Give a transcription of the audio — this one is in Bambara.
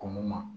Ko mun na